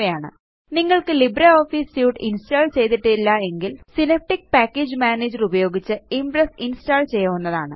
എന്നിവയാണ് നിങ്ങള്ക്ക് LibreOffice suite install ചെയ്തിട്ടില്ല എങ്കില് സിനാപ്റ്റിക് പാക്കേജ് മാനേജർ ഉപയോഗിച്ച് ഇംപ്രസ് ഇന്സ്റ്റാള് ചെയ്യാവുന്നതാണ്